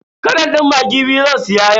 Katon din maggi biyu zan siya yau.